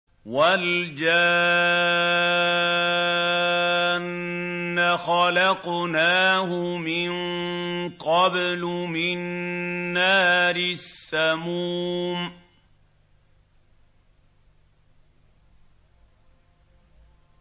وَالْجَانَّ خَلَقْنَاهُ مِن قَبْلُ مِن نَّارِ السَّمُومِ